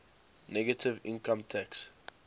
negative income tax